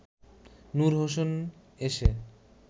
নূর হোসেন এসে